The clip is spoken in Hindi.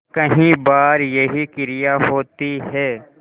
कई बार यही क्रिया होती है